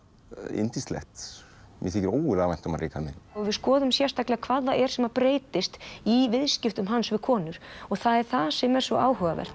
yndislegt mér þykir ógurlega vænt um hann Ríkharð minn við skoðum sérstaklega hvað það er sem breytist í viðskiptum hans við konur það er það sem er svo áhugavert